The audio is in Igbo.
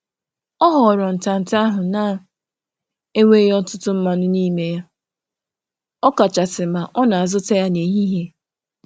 Ọ na-ahọrọ nri na-adịghị oke mmanụ, ọkachasị n’ehihie mgbe ọ um na-azụ ya.